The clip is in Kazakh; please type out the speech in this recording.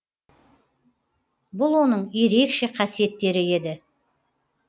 бұл оның ерекше қасиеттері еді